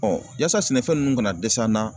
yasa sɛnɛfɛn ninnu kana dɛsɛ an na.